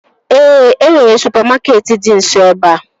Ee, e nwere supamakeetị dị nso ebea